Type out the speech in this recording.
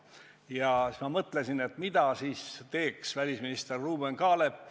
Ja siis ma mõtlesin, mida teeks välisminister Ruuben Kaalep.